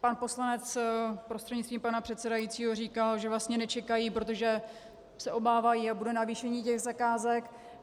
Pan poslanec prostřednictvím pana předsedajícího říkal, že vlastně nečekají, protože se obávají, jaké bude navýšení těch zakázek.